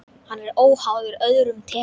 Hann er óháður öðrum tekjum.